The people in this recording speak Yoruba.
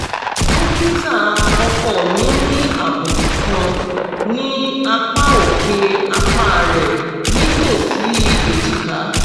dokita ọkọ mi ní àbùkù kan ní apá òkè apá rẹ̀ nítòsí ejika